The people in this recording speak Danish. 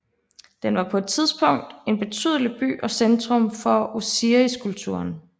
Den var på et tidspunkt en betydelig by og centrum for Osiriskulten